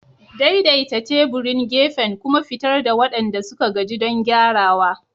Daidaita teburin gefen kuma fitar da waɗanda suka gaji don gyarawa.